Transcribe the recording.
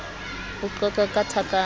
ho qoqwa ke thaka a